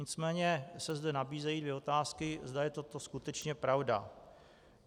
Nicméně se zde nabízejí dvě otázky, zda je to skutečně pravda.